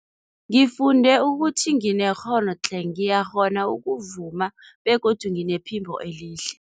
Ngifunde ukuthi nginekghono tle, ngiyakghona ukuvuma begodu nginephimbo elihle.